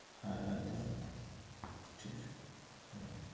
হ্যাঁ একদম একদম ঠিক আছে হম